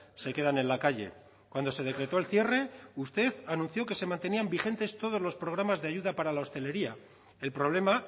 se quedan en la calle cuando se decretó el cierre usted anunció que se mantenían vigentes todos los programas de ayuda para la hostelería el problema